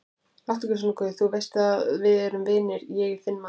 Láttu ekki svona guð, þú veist að við erum vinir, ég er þinn maður.